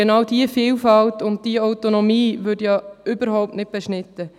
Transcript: Genau diese Vielfalt und diese Autonomie werden überhaupt nicht beschnitten.